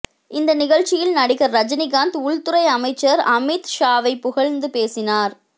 இந்த நிகழ்ச்சியில் நடிகர் ரஜினிகாந்த் உள்துறை அமைச்சர் அமித் ஷாவை புகழ்ந்து பேசினார்